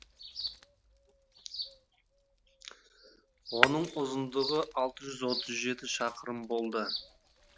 оның ұзындығы алты жүз отыз жеті шақырым болды